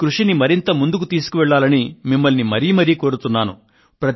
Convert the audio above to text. ఈ కృషిని మరింత ముందుకు తీసుకువెళ్లాలని మిమ్మల్ని మరీ మరీ కోరుతున్నాను